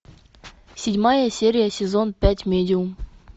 седьмая серия сезон пять медиум